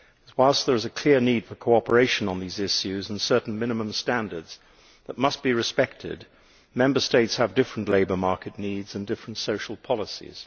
Whilst there is a clear need for cooperation on these issues and certain minimum standards that must be respected, Member States have different labour market needs and different social policies.